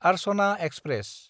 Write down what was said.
Archana express